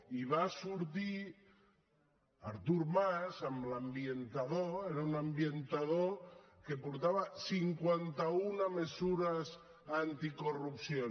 i va sortir artur mas amb l’ambientador era un ambientador que portava cinquanta una mesures anticorrupció